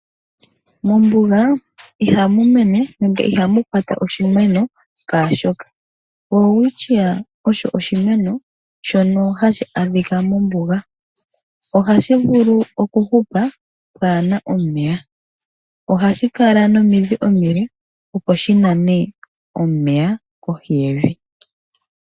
Mombunga ihamumene nenge ihamukwata oshineno Sha shoka, welewityiya osho oshineno shono hashi adhika mombunga oha shivulu oku hupa pwana omeya, oha shikala nomidhi omile opo Shimane omeya kohi yevi.